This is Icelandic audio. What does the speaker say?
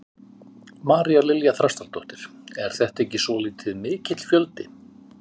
María Lilja Þrastardóttir: Er þetta ekki svolítið mikill fjöldi?